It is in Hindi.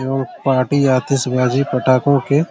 और पार्टी आतिश बाजी पटाको के--